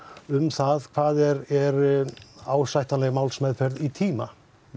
um það hvað er er ásættanleg málsmeðferð í tíma